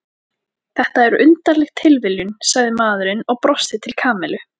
Þetta er undarleg tilviljun sagði maðurinn og brosti til Kamillu.